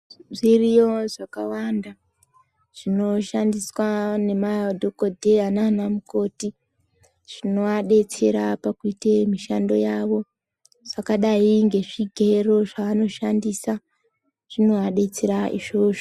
Zviriyo zvakawanda zvinoshandiswa ngemadhokodheya nanamukoti zvinoadetsera pakuite mishando yavo zvakadai ngezvigero zvavanoshandisa zvinovadetsera izvozvo.